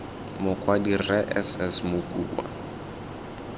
mokwadi rre s s mokua